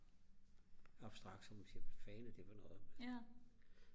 abstrakt så man siger hvad fanden er det for noget man